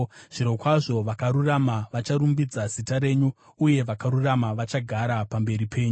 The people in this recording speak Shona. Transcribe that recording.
Zvirokwazvo vakarurama vacharumbidza zita renyu, uye vakarurama vachagara pamberi penyu.